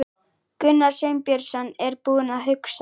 Gunnar Sveinbjörnsson er búinn að hugsa.